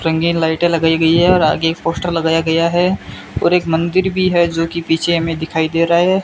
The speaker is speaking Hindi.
रंगीन लाइटें लगाई गई है और आगे एक पोस्टर लगाया गया है और एक मंदिर भी है जो कि पीछे हमें दिखाई दे रहा है।